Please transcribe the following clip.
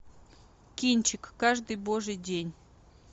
кинчик каждый божий день